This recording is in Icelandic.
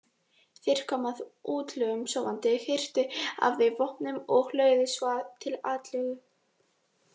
Þeir komu að útlögunum sofandi, hirtu af þeim vopnin og lögðu svo til atlögu.